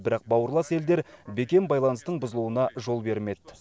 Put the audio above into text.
бірақ бауырлас елдер бекем байланыстың бұзылуына жол бермеді